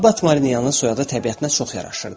Abbat Marianın soyadı təbiətinə çox yaraşırdı.